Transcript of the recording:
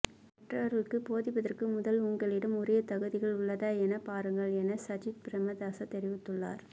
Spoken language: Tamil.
மற்றவர்களிற்கு போதிப்பதற்கு முதல் உங்களிடம் உரிய தகுதிகள் உள்ளதா என பாருங்கள் என சஜித்பிரேமதாச தெரிவித்துள்ளார்